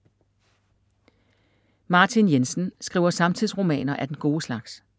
Martin Jensen skriver samtidsromaner af den gode slags.